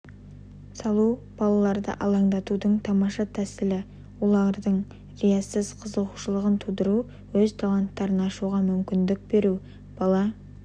салу балаларды алаңдатудың тамаша тәсілі оларда риясыз қызығушылығын тудырту өз таланттарын ашуға мүмкіндік беру бала